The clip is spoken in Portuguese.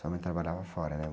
Sua mãe trabalhava fora, né?